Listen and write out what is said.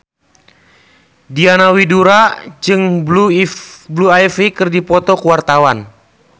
Diana Widoera jeung Blue Ivy keur dipoto ku wartawan